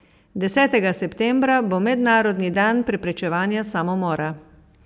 Desetega septembra bo mednarodni dan preprečevanja samomora.